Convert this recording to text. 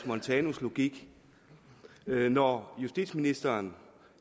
montanus logik når justitsministeren